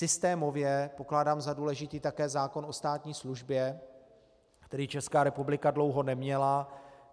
Systémově pokládám za důležitý také zákon o státní službě, který Česká republika dlouho neměla.